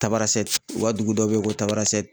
Tabarasɛte u ka dugu dɔ bɛ yen ko Tabarasɛte.